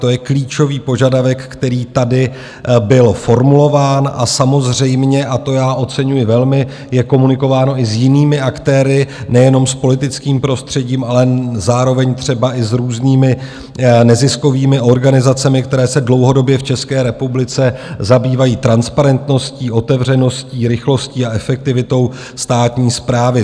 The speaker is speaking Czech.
To je klíčový požadavek, který tady byl formulován, a samozřejmě - a to já oceňuji velmi - je komunikováno i s jinými aktéry, nejenom s politickým prostředím, ale zároveň třeba i s různými neziskovými organizacemi, které se dlouhodobě v České republice zabývají transparentností, otevřeností, rychlostí a efektivitou státní správy.